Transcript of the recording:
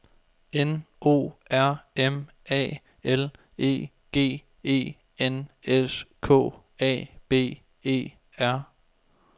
N O R M A L E G E N S K A B E R